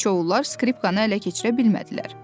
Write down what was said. Siçovullar skripkanı ələ keçirə bilmədilər.